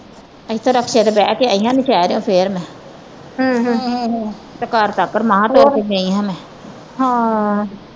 ਇੱਥੋਂ ਰਕਸ਼ੇ ਤੇ ਬਹਿ ਕੇ ਆਈ ਹਾਂ ਨੌਸ਼ੇਰਿਓ ਫਿਰ ਮੈ ਤੇ ਘਰ ਤਕ ਮਹਾ ਤੁਰ ਕੇ ਗਈ ਹਾਂ ਮੈ